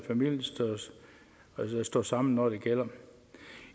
står sammen når det gælder